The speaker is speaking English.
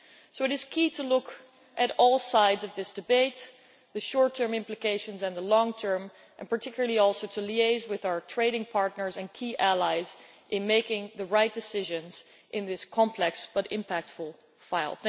So it is key to look at all sides of this debate, both the short term implications and the long term, and particularly also to liaise with our trading partners and key allies in making the right decisions in this complex but impactful file.